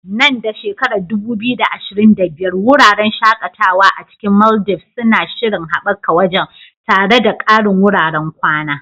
Nan da 2025, wuraren shakatawa a cikin Maldives suna shirin haɓaka wajen, tare da ƙarin wuraren kwana.